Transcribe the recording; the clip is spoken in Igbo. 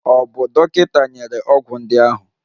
Ọ̀ bụ dọkịta nyere ọgwụ ndị ahụ?